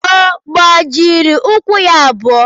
Ọ gbajiri ụkwụ ya abụọ?